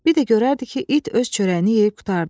Bir də görərdi ki, it öz çörəyini yeyib qurtardı.